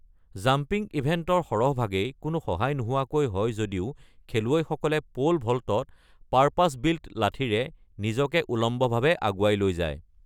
Jumping ইভেণ্টৰ সৰহভাগেই কোনো সহায় নোহোৱাকৈ হয় যদিও খেলুৱৈসকলে পোল ভল্টত পাৰপাছ-বিল্ট লাঠিৰে নিজকে উলম্বভাৱে আগুৱাই লৈ যায়।